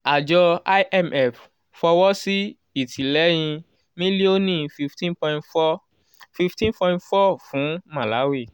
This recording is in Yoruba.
àjọ imf fọwọ́ sí ìtìlẹ́yìn mílíọ̀nù fifteen point four fifteen point four fún malawi